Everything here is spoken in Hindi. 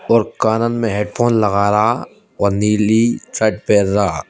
और कानन में हेडफोन लगा रा और नीली शर्ट पहन रा --